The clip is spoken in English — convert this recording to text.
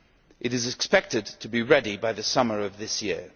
It is expected to be ready by the summer of this year.